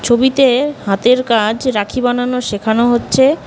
ছবিতে হাতের কাজ রাখি বানানো শেখানো হচ্ছে।